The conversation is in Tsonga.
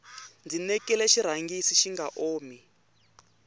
ndzi nekile xirhangisi xinga omi